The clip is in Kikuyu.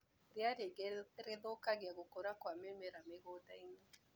Ria rĩingĩ nĩrĩthũkagia gũkũra kwa mĩmera mĩgũndainĩ.